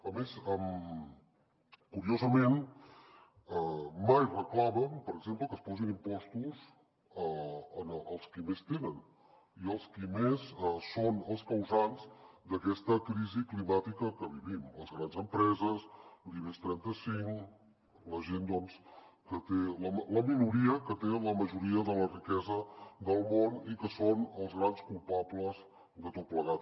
a més curiosament mai reclamen per exemple que es posin impostos als qui més tenen i als qui més són els causants d’aquesta crisi climàtica que vivim les grans empreses l’ibex trenta cinc la minoria que té la majoria de la riquesa del món i que són els grans culpables de tot plegat